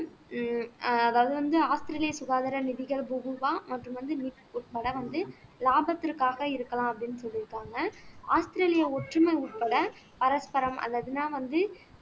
உம் வந்து ஆஸ்திரேலியா சுகாதார நிதிகள் மற்றும் வந்து உட்பட வந்து லாபத்திற்காக இருக்கலாம் அப்படின்னு சொல்லியிருக்காங்க ஆஸ்திரேலியா ஒற்றுமை உட்பட பரஸ்பரம் அல்லதுன்னா வந்து